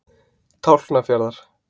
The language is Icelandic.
Tálknafjarðar